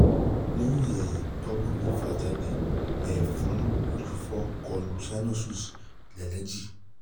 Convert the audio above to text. leyin ti ehin um ọgbọn um mi ti fa jade